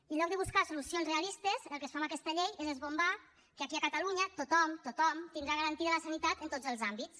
i en lloc de buscar solucions realistes el que es fa amb aquesta llei és esbombar que aquí a catalunya tothom tothom tindrà garantida la sanitat en tots els àmbits